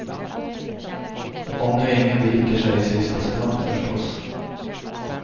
Om nu ingen viker sig i sista stund, förstås.